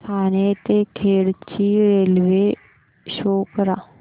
ठाणे ते खेड ची railway show करा